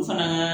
O fana